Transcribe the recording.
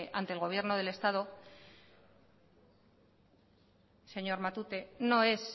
ante el gobierno del estado señor matute no es